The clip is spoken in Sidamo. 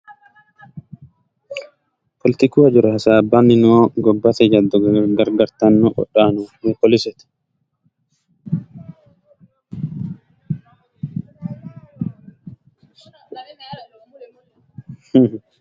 Politiku hajora hasaabbanni no gobbate jaddo gargartanno qodhanno woy poolisete.